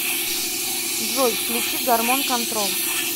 джой включи гормон контрол